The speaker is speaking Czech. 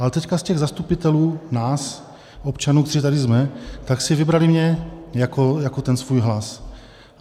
Ale teď z těch zastupitelů, nás občanů, kteří tady jsme, tak si vybrali mě jako ten svůj hlas.